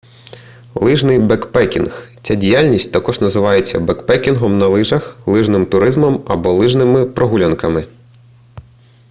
лижний бекпекінг ця діяльність також називається бекпекінгом на лижах лижним туризмом або лижними прогулянками